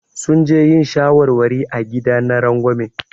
Sun je yin shawarwari a gida na rangwame.